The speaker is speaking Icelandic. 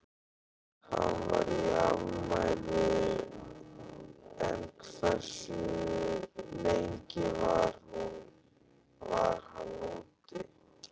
Hann var í afmæli en hversu lengi var hann úti?